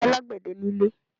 Kò sì alágbẹ̀dẹ nílé.